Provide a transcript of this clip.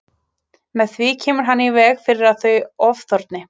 Með því kemur hann í veg fyrir að þau ofþorni.